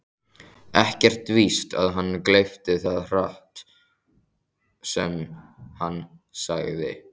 Ekkert víst að hann gleypti það hrátt sem hann segði.